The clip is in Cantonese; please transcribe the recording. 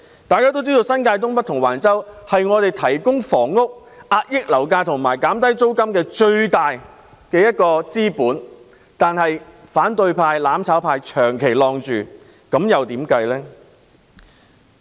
大家都知道，新界東北及橫洲是提供房屋、遏抑樓價及減低租金的最大資本，但反對派、"攬炒派"長期阻礙有關發展。